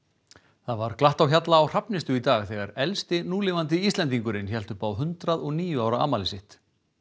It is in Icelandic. það var glatt á hjalla á Hrafnistu í dag þegar elsti núlifandi Íslendingurinn hélt upp á hundrað og níu ára afmæli sitt